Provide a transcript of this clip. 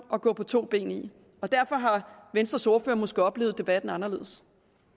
at gå på to ben i derfor har venstres ordfører måske oplevet debatten anderledes